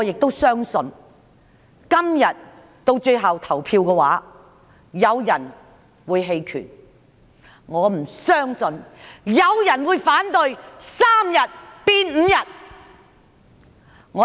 我相信今天到最後投票時，有人會棄權，我不相信有人會反對把3天侍產假增至5天。